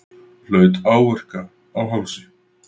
Hlaut áverka á hálsi